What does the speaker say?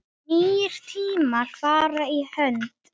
Nýir tímar fara í hönd